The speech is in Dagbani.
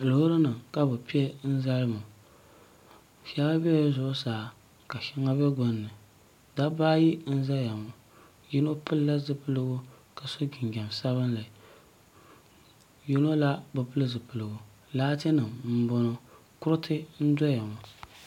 loori nim ka bi piɛ n zali ŋo shɛli biɛla zuɣusaa ka shɛli bɛ gbunni dabba ayi n ʒɛya ŋo yino pilila zipiligu ka so jinjɛm sabinli yino la bi pili zipiligu laati nim n boŋo kuriti n doya ŋo